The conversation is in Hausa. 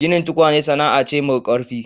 Ginin tukwane sana'a ce mau ƙarfi.